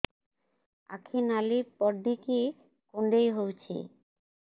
ଆଖି ନାଲି ପଡିକି କୁଣ୍ଡେଇ ହଉଛି